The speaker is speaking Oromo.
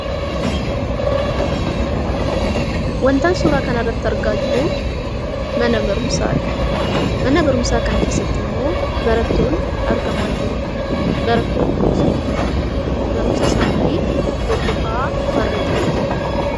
Wantan suuraa kanarratti argaa jiru mana barumsaadha. Mana barumsaa kana keessatti immoo barattoonni argamaa jiru. Barattoonni kunis immoo barnoota isaanii hordofaa warra jirudha.